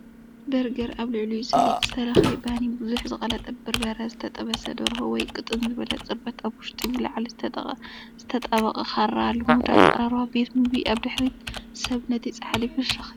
በርገር ኣብ ልዕሊኡ ሰሊጥ ዝተለኽየ ባኒ ብዙሕ ዝቐለጠ በርበረ ዝተጠበሰ ደርሆ ወይ ቅጥን ዝበለ ጽርበት ኣብ ውሽጢ ብላዕሊ ዝተጣበቐ ካራ ልሙድ ኣቀራርባ ቤት ምግቢ ኣብ ድሕሪት ሰብ ነቲ ጻሕሊ ፍሽኽ ይብል ኣሎ፣